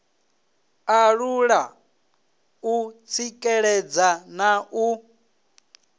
alula u tsikeledza na u